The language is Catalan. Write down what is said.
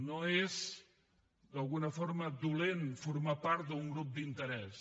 no és d’alguna forma dolent formar part d’un grup d’interès